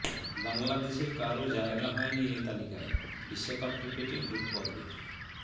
বাংলাদেশের কারও জায়গা হয়নি এ তালিকায় বিশ্বকাপ ক্রিকেটে গ্রুপপর্বের